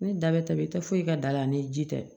Ni da bɛ tɛ i tɛ foyi kɛ da la ani ji tɛ